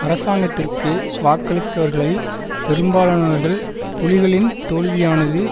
அரசாங்கத்திற்கு வாக்களித்தவர்களில் பெரும்பாலானவர்கள் புலிகளின் தோல்வியானது